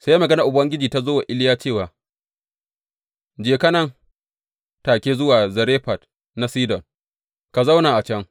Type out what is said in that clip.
Sai maganar Ubangiji ta zo wa Iliya cewa, Je ka, nan take, zuwa Zarefat na Sidon, ka zauna a can.